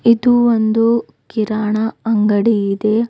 ಇದು ಒಂದು ಕಿರಾಣಾ ಅಂಗಡಿ ಇದೆ.